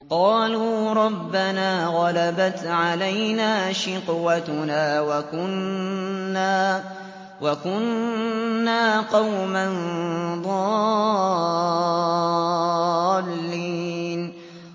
قَالُوا رَبَّنَا غَلَبَتْ عَلَيْنَا شِقْوَتُنَا وَكُنَّا قَوْمًا ضَالِّينَ